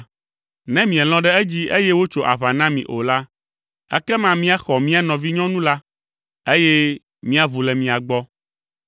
“Ne mielɔ̃ ɖe edzi eye wotso aʋa na mi o la, ekema míaxɔ mía nɔvinyɔnu la, eye míaʋu le mia gbɔ.”